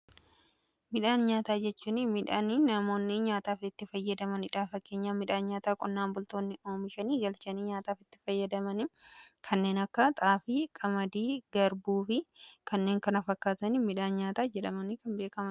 midhaan nyaataa jechuun midhaan namoonni nyaataaf itti fayyadamanidha. Fakkeenyaf midhaan nyaataa qonnaan bultoonni oomishanii galchanii nyaataaf itti fayyadamanii kanneen akka xaafii, qamadii, garbuufi kanneen kana fakkaatanii midhaan nyaataa jedhamu.